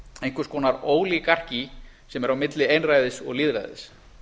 einhvers konar ólígarkí sem er á milli einræðis og lýðræðis